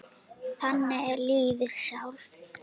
Þannig er lífið sjálft.